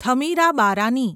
Thamirabarani